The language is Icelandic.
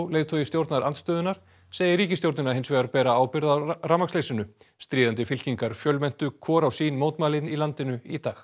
leiðtogi stjórnarandstöðunnar segir ríkisstjórnina hins vegar bera ábyrgð á rafmagnsleysinu stríðandi fylkingar fjölmenntu á hvor mótmælin í landinu í dag